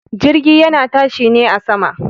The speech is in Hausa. Jirgi yana tashi ne a sama.